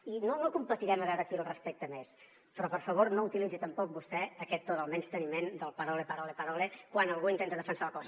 i no no competirem a veure qui el respecta més però per favor no utilitzi tampoc vostè aquest to del menysteniment del parole parole parole quan algú intenta defensar el cos